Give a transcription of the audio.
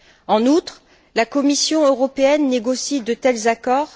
En outre, la Commission européenne négocie de tels accords.